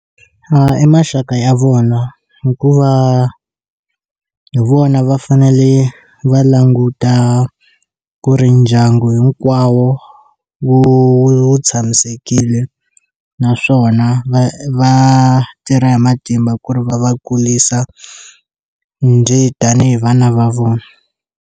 Eya maxaka ya vona hikuva hi vona va fanele va languta ku ri ndyangu hinkwawo wu wu tshamisekile naswona va va tirha hi matimba ku ri va va kurisa ndzi tanihi vana va vona.